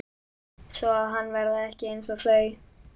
Svoað hann verði ekki einsog þau.